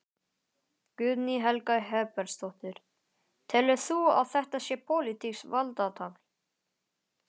Guðný Helga Herbertsdóttir: Telur þú að þetta sé pólitískt valdatafl?